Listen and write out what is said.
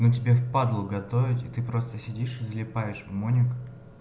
но тебе в падлу готовить и ты просто сидишь и залипаешь в моник